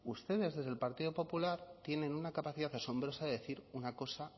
ustedes desde el partido popular tienen una capacidad asombrosa de decir una cosa